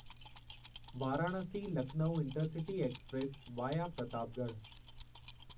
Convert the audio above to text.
Varanasi Lucknow intercity express via Pratapgarh